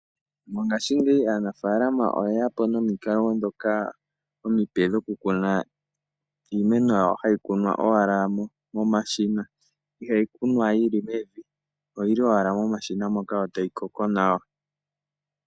Mongaashingeyi aanafaalama oye yapo nomikalo ndhoka omipe dhoku kuna iimeno yawo, hayi kunwa owala mo mashina. Ihayi kunwa yili mevi, oyili owala mo mashina moka yo, tayi koko nawa.